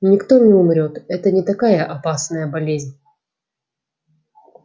никто не умрёт это не такая опасная болезнь